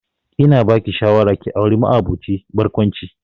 Ina ba ki shawara ki auri ma'aboci barkwanci